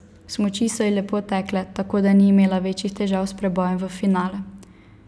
Smuči so ji lepo tekle, tako da ni imela večjih težav s prebojem v finale.